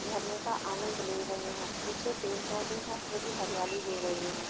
झरने का आनंद ले रहे हैं पीछे पेड़ पौधे हैं जो कि हरियाली दे रहे है।